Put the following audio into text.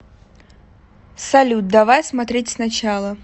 салют давай смотреть сначала